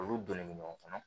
Olu donnen bɛ ɲɔgɔn kɔnɔ